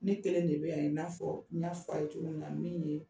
Ne kelen de bɛ yan i n'a fɔ, n ɲa f'a ye cogo min na min ye